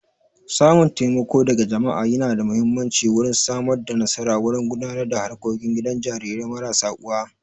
Samun taimako daga jama'a yana da muhimmanci wurin Samar da nasara wurin gudanar da harkokin gidan jarirai marasa uwa